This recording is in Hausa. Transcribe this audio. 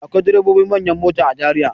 Akwai direbobin manyan mota a Zariya.